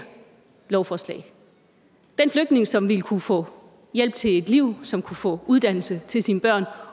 lovforslag den flygtning som ville kunne få hjælp til et liv som ville kunne få uddannelse til sine børn